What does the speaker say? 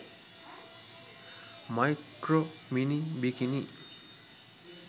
micro mini bikini